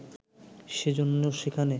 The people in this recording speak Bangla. সেজন্যে সেখানে